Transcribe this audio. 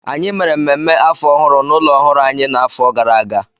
Anyị mere mmemme afọ ọhụrụ n'ụlọ ọhụrụ anyị n'afọ gara aga